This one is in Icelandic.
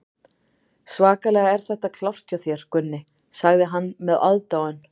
Svakalega er þetta klárt hjá þér, Gunni, sagði hann með aðdáun.